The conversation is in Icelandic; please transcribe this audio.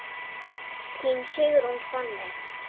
Þín Sigrún Fanney.